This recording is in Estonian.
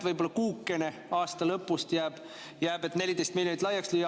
Võib-olla kuukene aasta lõpus jääb, et 14 miljonit laiaks lüüa.